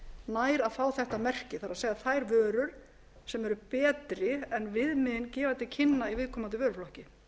nær að fá þetta merki það er þær vörur sem eru betri en viðmiðin gefa til kynna í viðkomandi vöruflokki